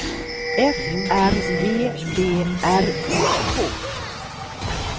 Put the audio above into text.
F R E D R I K